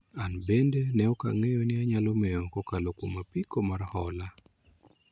an bende ne ok ang'eyo ni anyalo mewo kokalo kuom apiko mar hola